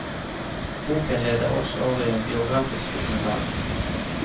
Boken leder også over i en biografisk dokumentar.